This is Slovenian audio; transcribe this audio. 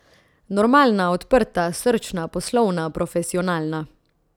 Normalna, odprta, srčna, poslovna, profesionalna.